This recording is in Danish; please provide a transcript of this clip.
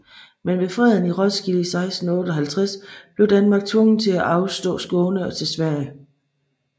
Men ved freden i Roskilde i 1658 blev Danmark tvunget til at afstå Skåne til Sverige